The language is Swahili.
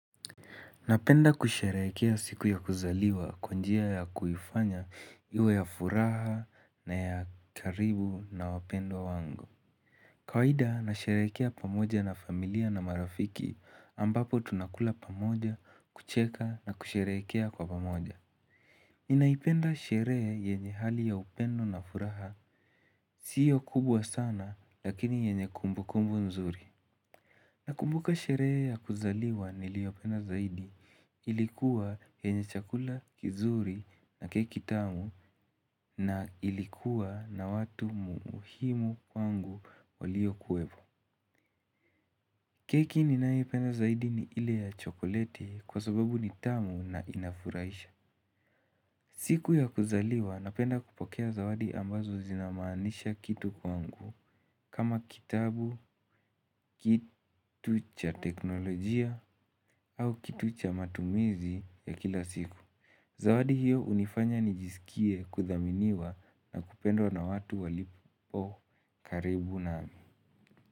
Napenda kusherehekea siku ya kuzaliwa kwa njia ya kuifanya iwe ya furaha na ya karibu na wapendwa wangu. Kawaida nasherehekea pamoja na familia na marafiki ambapo tunakula pamoja kucheka na kusherehekea kwa pamoja. Ninaipenda sherehe yenye hali ya upendo na furaha. Siyo kubwa sana lakini yenye kumbukumbu nzuri. Nakumbuka sherehe ya kuzaliwa niliyopenda zaidi. Ilikuwa yenye chakula kizuri na keki tamu na ilikuwa na watu muhimu kwangu waliokuwepo. Keki ninayoipenda zaidi ni ile ya chokoleti kwa sababu ni tamu na inafurahisha. Siku ya kuzaliwa napenda kupokea zawadi ambazo zinamaanisha kitu kwangu. Kama kitabu, kitu cha teknolojia au kitu cha matumizi ya kila siku. Zawadi hiyo hunifanya nijisikie kuthaminiwa na kupendwa na watu walipo karibu nami.